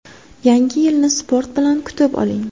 Yangi yilni sport bilan kutib oling!.